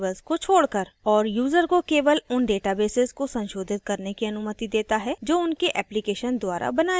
और यूजर को केवल उन databases को संशोधित करने की अनुमति देता है जो उनके application द्वारा बनाए गए हैं